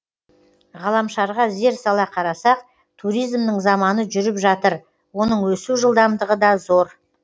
ғаламшарға зер сала қарасақ туризмнің заманы жүріп жатыр оның өсу жылдамдығыда зор